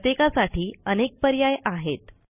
प्रत्येकासाठी अनेक पर्याय आहेत